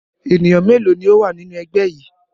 Ènìyàn mélòó ni ó wà nínú ẹgbẹ́ yìí?